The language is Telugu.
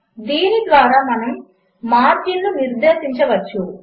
దీనిద్వారామనముమార్జిన్లునిర్దేశించవచ్చు